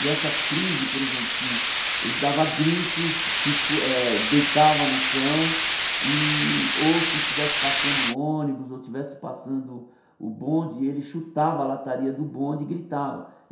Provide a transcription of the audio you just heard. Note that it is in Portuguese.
E essa crise, por exemplo, se ele dava gritos, se esco deitava no chão, ou se estivesse passando o ônibus, ou estivesse passando o bonde, ele chutava a lataria do bonde e gritava.